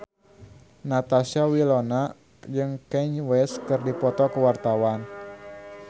Natasha Wilona jeung Kanye West keur dipoto ku wartawan